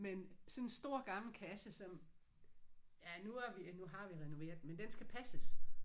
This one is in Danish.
Men sådan en stor gammel kasse som ja nu har vi nu har vi renoveret den men den skal passes